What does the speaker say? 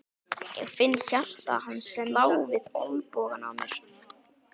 Ég finn hjarta hans slá við olnbogann á mér.